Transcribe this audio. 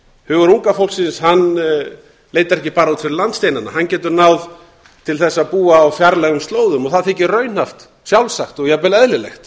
hugur unga fólksins hann leitar ekki bara út fyrir landsteinana hann getur náð til þess að búa á fjarlægum slóðum og það þykir raunhæft sjálfsagt og jafnvel eðlilegt